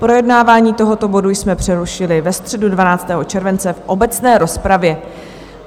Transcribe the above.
Projednávání tohoto bodu jsme přerušili ve středu 12. července v obecné rozpravě.